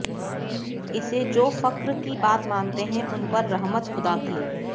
इसे जो फख्र की बात मानते हैं उन पर रहमत खुदा की